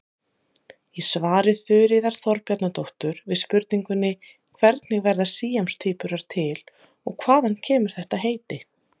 Í svari Þuríðar Þorbjarnardóttur við spurningunni Hvernig verða síamstvíburar til og hvaðan kemur þetta heiti?